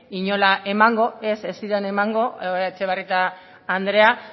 inola emango ez ez ziren emango etxebarrieta andrea